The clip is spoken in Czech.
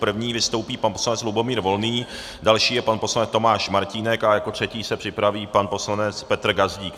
První vystoupí pan poslanec Lubomír Volný, další je pan poslanec Tomáš Martínek a jako třetí se připraví pan poslanec Petr Gazdík.